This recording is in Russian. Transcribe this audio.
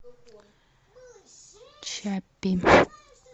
чаппи